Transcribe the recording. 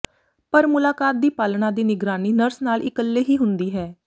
ਪਰ ਮੁਲਾਕਾਤ ਦੀ ਪਾਲਣਾ ਦੀ ਨਿਗਰਾਨੀ ਨਰਸ ਨਾਲ ਇਕੱਲੇ ਹੀ ਹੁੰਦੀ ਹੈ